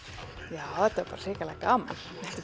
já þetta var bara hrikalega gaman